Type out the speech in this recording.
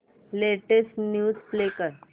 latest news play कर